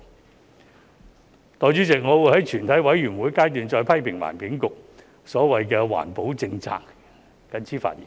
代理主席，我會於全體委員會審議階段再批評環境局的所謂環保政策，我謹此發言。